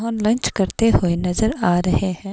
Lunch करते हुए नजर आ रहे हैं।